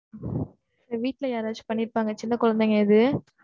வீட்ல யாராச்சும் பண்ணியிருப்பாங்க, சின்ன குழந்தைங்க எது?